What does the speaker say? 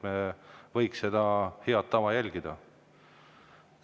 Me võiksime hakata seda head tava.